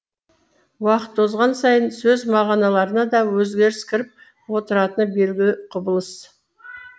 уақыт озған сайын сөз мағыналарына да өзгеріс кіріп отыратыны белгілі құбылыс